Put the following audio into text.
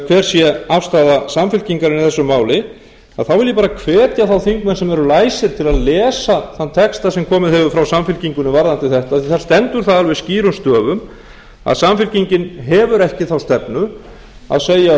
hver sé afstaða samfylkingarinnar í þessu máli þá vil ég bara hvetja þá þingmenn sem eru læsir til að lesa þann texta sem komið hefur frá samfylkingunni varðandi þetta því að það stendur þar alveg skýrum stöfum að samfylkingin hefur ekki þá stefnu að segja upp